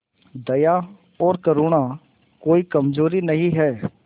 दया और करुणा कोई कमजोरी नहीं है